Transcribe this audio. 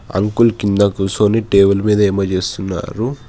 Uncle కింద కూర్చొని table మీద ఏదో చేస్తున్నారు.